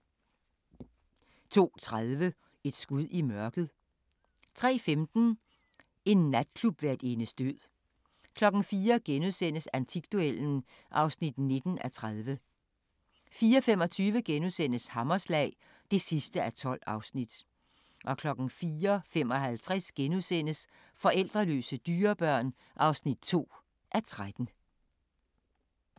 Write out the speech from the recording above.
02:30: Et skud i mørket 03:15: En natklubværtindes død 04:00: Antikduellen (19:30)* 04:25: Hammerslag (12:12)* 04:55: Forældreløse dyrebørn (2:13)*